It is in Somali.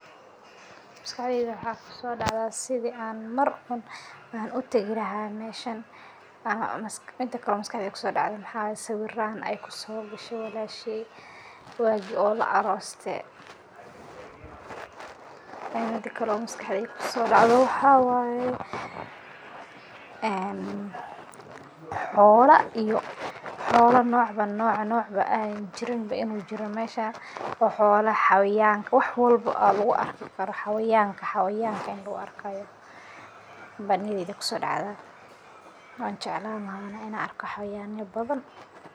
Maskaxdeyda waxaa kuso dacdhaa sithii an mar un utagi lahay meeshan, miida kalee o maskaxdeyda kusodacdhee mxaa waye sawiiran eey ku sogashee wallashey wagii la arostee, miidi kalo maskaxdeyda kusodacdho waxaa waye een xolaa iyo xolaa nocba nocc an jiriin inu jiroo meshaas o xola xayawanka wax walbo aya lagu arkaa , xayawanka ini lagu arkayo baa niyadeyda kusodacdaa, wan jeclan lahay Ana ina arko xayawana bathan.